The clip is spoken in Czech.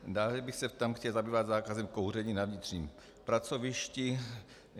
Dále bych se tam chtěl zabývat zákazem kouření na vnitřním pracovišti.